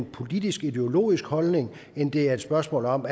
politiskideologisk holdning end det er et spørgsmål om